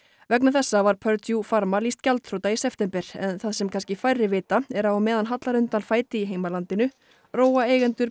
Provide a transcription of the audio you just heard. vegna þessa var Purdue Pharma lýst gjaldþrota í september en það sem kannski færri vita er að á meðan hallar undan fæti í heimalandinu róa eigendur